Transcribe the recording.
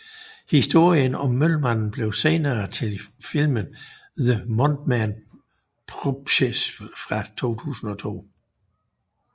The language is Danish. Historien om Mølmanden blev senere til filmen The Mothman Prophecies fra 2002